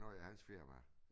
Noget af hans firma